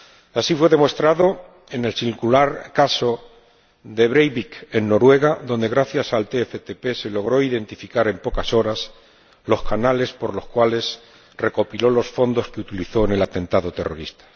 Así fue demostrado en el singular caso Breivik, en Noruega, donde gracias al TCTP se logró identificar en pocas horas los canales por los cuales recopiló los fondos que utilizó en el atentado terrorista.